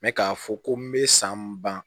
Mɛ k'a fɔ ko n bɛ san ban